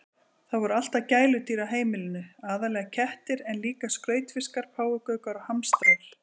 Það voru alltaf gæludýr á heimilinu, aðallega kettir en líka skrautfiskar, páfagaukar og hamstrar.